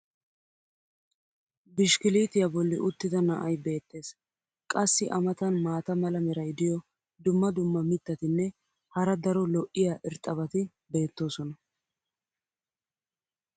bishkkiliitiya boli uttida na"ay beetees. qassi a matan maata mala meray diyo dumma dumma mitatinne hara daro lo'iya irxxabati beetoosona.